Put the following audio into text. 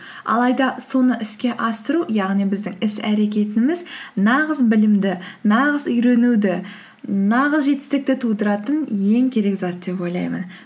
алайда соны іске асыру яғни біздің іс әрекетіміз нағыз білімді нағыз үйренуді нағыз жетістікті тудыратын ең керек зат деп ойлаймын